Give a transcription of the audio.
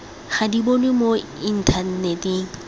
ga di bonwe mo inthaneteng